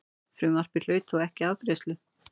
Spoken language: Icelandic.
Frumvarpið hlaut þó ekki afgreiðslu.